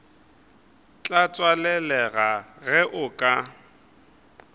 tla tswalelega ge o ka